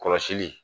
Kɔlɔsili